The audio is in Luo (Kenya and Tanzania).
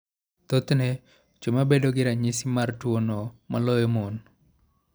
Thothne, chwo ema bedo gi ranyisi mar tuwono moloyo mon.